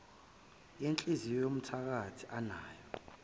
yenhliziyo yomthakathi anayo